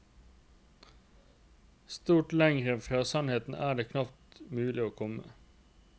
Stort lengre fra sannheten er det knapt mulig å komme.